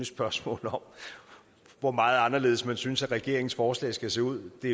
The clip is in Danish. spørgsmål om hvor meget anderledes man synes at regeringens forslag skal se ud det